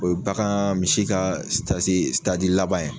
O ye bagaan misi ka laban ye